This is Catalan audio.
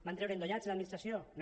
van treure endollats de l’administració no